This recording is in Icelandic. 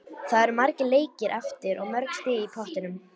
Það eru margir leikir eftir og mörg stig í pottinum.